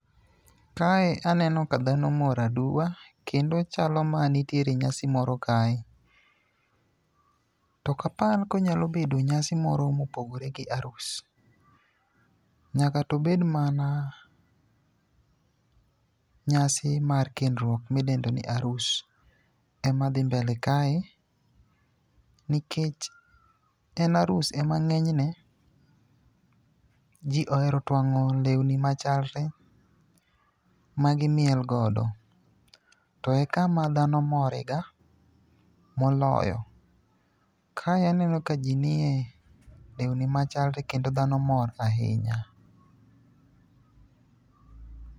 Kae aneno ka dhano mpor aduwa kendo chalo mana nitiere nyasi moro kae, to ok apar konyalo bedo nyasi moro mopogore gi arus. Nyaka to obed mana nyasi mar kendruok midendoni arus ema dhi mbele kae nikech ,tem arus ema ng'enyne ,ji ohero twang'o lewni machalre magimiel godo, to e kama dhano mor ega moloyo. Kae aneno ka ji nie lewni machalre kendo dhano mor ahinya.